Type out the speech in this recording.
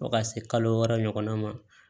Fo ka se kalo wɔɔrɔ ɲɔgɔnna ma